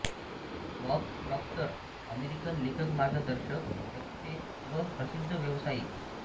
Bob Proctor American लेखकमार्गदर्शक वक्ते व प्रसिद्ध व्यावसायिक